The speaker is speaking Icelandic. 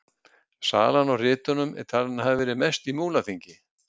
Salan á ritunum er talin hafa verið mest í Múlaþingi.